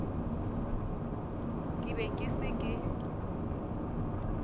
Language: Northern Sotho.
ke be ke se ke